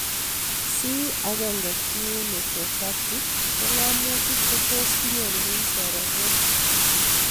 C1q nephropathy ko ng'amutik che tos kinyorune soromok